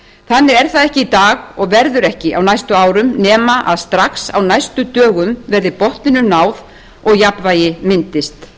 þannig er það ekki í dag og verður ekki á næstu árum nema strax á næstu dögum verði botninum náð og jafnvægi myndist